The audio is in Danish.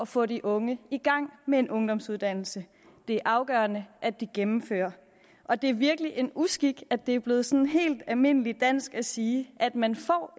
få de unge i gang med en ungdomsuddannelse det er afgørende at de gennemfører og det er virkelig en uskik at det er blevet sådan helt almindeligt dansk at sige at man